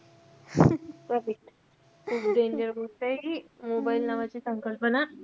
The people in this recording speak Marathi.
correct खूप danger गोष्टय हि mobile नावाची संकल्पना.